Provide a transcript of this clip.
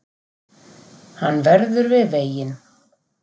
Hann verður við veginn